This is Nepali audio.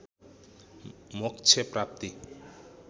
मोक्ष प्राप्ति